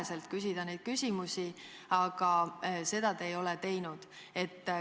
Kohe tulnuks küsida neid küsimusi, aga seda te ei ole teinud.